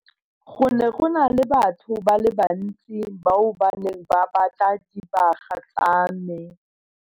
Go ne go na le batho ba le bantsi bao ba neng ba batla dibaga tsa me.